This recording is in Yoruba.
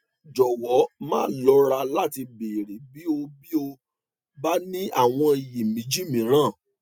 jọwọ má lọra láti béèrè bí o bí o bá ní àwọn iyèméjì mìíràn